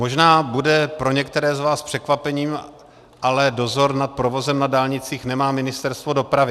Možná bude pro některé z vás překvapením, ale dozor nad provozem na dálnicích nemá Ministerstvo dopravy.